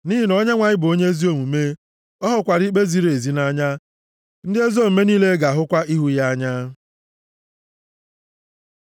Nʼihi na Onyenwe anyị bụ onye ezi omume, ọ hụkwara ikpe ziri ezi nʼanya; ndị ezi omume niile ga-ahụkwa ihu ya anya.